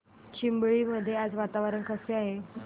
चिंबळी मध्ये आज वातावरण कसे आहे